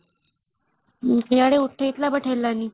ଇଆଡେ ଉଠେଇ ଥିଲା but ହେଲାନି |